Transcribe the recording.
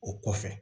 O kɔfɛ